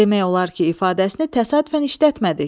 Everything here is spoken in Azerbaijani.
Demək olar ki, ifadəsini təsadüfən işlətmədik.